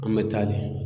An bɛ taa le